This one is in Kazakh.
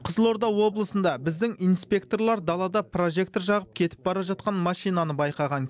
қызылорда облысында біздің инспекторлар далада прожектор жағып кетіп бара жатқан машинаны байқаған